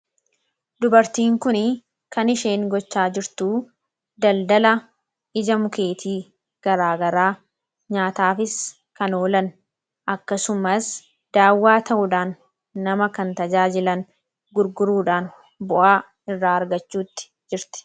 Dubartiin kuni kan isheen gochaa jirtu daldala ija mukeetii garaa garaa nyaataafis kan oolan akkasumas daawwaa ta'uudhaan nama kan tajaajilan gurguruudhaan bu'aa irraa argachuutti jirti.